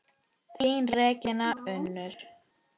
Þín Regína Unnur.